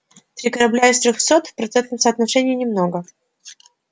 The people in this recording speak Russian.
три корабля из трёхсот в процентном соотношении немного